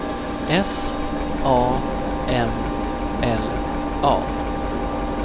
S A M L A